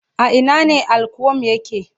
A Ina ne Al-qualm yake